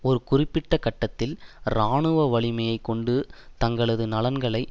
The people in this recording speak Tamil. ஒரு குறிப்பிட்ட கட்டத்தில் இராணுவ வலிமை கொண்டு தங்களது நலன்களை